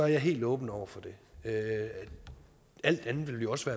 jeg helt åben over for det alt andet ville jo også